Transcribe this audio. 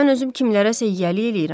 Mən özüm kimlərəsə yiyəlik eləyirəm.